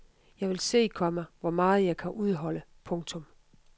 Jeg vil se, komma hvor meget jeg kan udholde. punktum